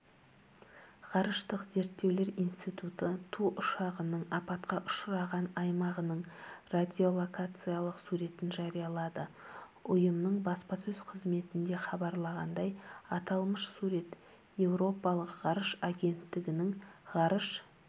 ғарыштық зерттеулер институты ту ұшағының апатқа ұшыраған аймағының радиолокациялық суретін жариялады ұйымның баспасөз-қызметінде хабарлағандай аталмыш сурет еуропалық ғарыш агенттігінің ғарыш